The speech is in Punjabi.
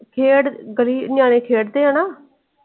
ਖੇਡ ਗਲੀ ਨਿਆਣੇ ਖੇਡਦੇ ਆ ਨਾ।